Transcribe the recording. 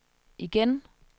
igen